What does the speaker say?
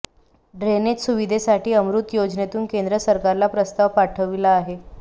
drainage सुविधेसाठी अमृत योजनेतून केंद्र सरकारला प्रस्ताव पाठविला आहे